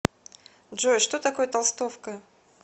джой что такое толстовка